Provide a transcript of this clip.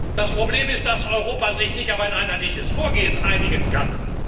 da. Das Problem ist, dass Europa sich nicht auf ein einheitliches Vorgehen einigen kann.